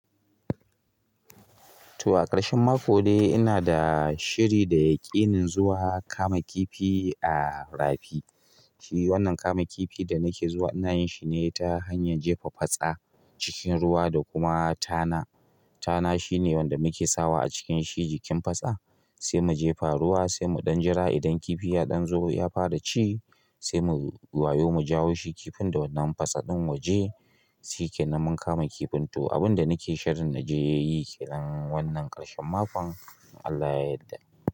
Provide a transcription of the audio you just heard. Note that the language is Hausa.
To a ƙarshen mako dai ina da shiri da yaƙinin zuwa kama kifi a rafi. Wannan kama kifi da nake zuwa ina yin shi ne ta hanyar jefa fatsa cikin ruwa da kuma tana. Tana shine wanda muke sawa a cikin shi jikin fatsa, sai mu jefa ruwa, sai mu ɗan jira idan kifi ya ɗan zo ya fara ci, sai mu wayo mu jawo shi. Kifin da wannan patsa ɗin wa je shi ke nan mun kama kifin. To, abin da nake shirin na je yi ke nan wannan ƙarshen makon in Allah ya yadda.